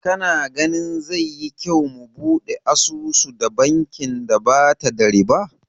Kana ganin zai yi kyau mu buɗe asusu da bankin da bata da ribau?